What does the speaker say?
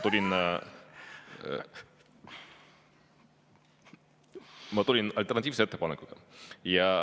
Ma tulin alternatiivse ettepanekuga.